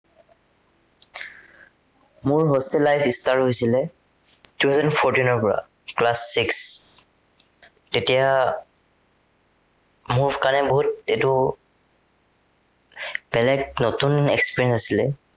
মোৰ hostel life start হৈছিলে two thousand fourteen ৰ পৰা class six তেতিয়া মোৰ কাৰনে বহুত এইটো বেলেগ নতুন experience আছিলে।